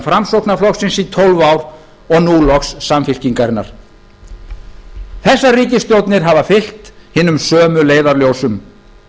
framsóknarflokksins í tólf og nú loks samfylkingarinnar þessar ríkisstjórnir hafa fylgt hinum sömu leiðarljósum